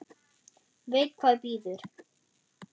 Veit hvað bíður.